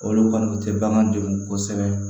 Olu kɔni tɛ bagan degun kosɛbɛ